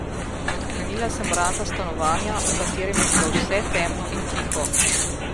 Odklenila sem vrata stanovanja, v katerem je bilo vse temno in tiho.